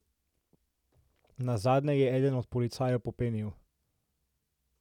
Nazadnje je eden od policajev popenil.